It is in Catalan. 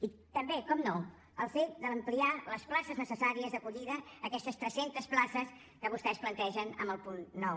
i també naturalment el fet d’ampliar les places necessàries d’acollida aquestes tres centes places que vostès plantegen en el punt nou